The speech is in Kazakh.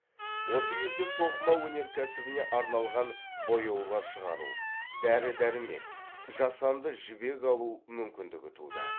осы кезде тоқыма өнеркәсібіне арналған бояулар шығару дәрі дәрмек жасанды жібек алу мүмкіндігі туды